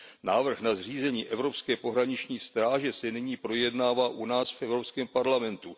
Návrh na zřízení Evropské pohraniční stráže se nyní projednává u nás v Evropském parlamentu.